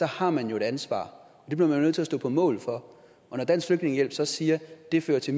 har man jo et ansvar og det bliver man nødt til at stå på mål for og når dansk flygtningehjælp så siger at det fører til